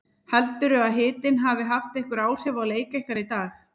Heldurðu að hitinn hafi haft einhver áhrif á leik ykkar í dag?